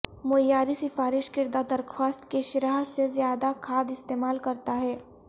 معیاری سفارش کردہ درخواست کی شرح سے زیادہ کھاد استعمال کرتا ہے